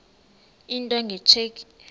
into nge tsheki